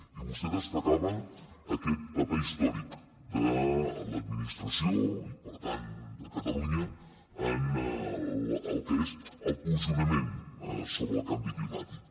i vostè destacava aquest paper històric de l’administració i per tant de catalunya en el que és el posicionament sobre el canvi climàtic